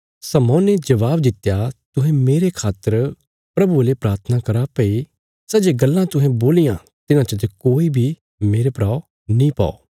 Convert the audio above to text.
शमौने जवाब दित्या तुहें मेरे खातर प्रभुये ले प्राथना करा भई सै जे गल्लां तुहें बोलियां तिन्हां चते कोई बी मेरे परा नीं पौ